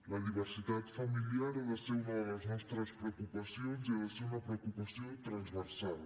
la diversitat familiar ha de ser una de les nostres preocupacions i ha de ser una preocupació transversal